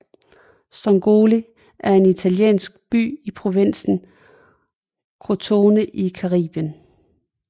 Strongoli er en italiensk by i provinsen Crotone i Calabrien